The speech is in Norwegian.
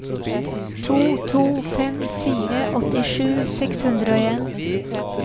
to to fem fire åttisju seks hundre og en